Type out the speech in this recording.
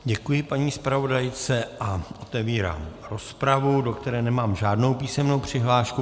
Děkuji paní zpravodajce a otevírám rozpravu, do které nemám žádnou písemnou přihlášku.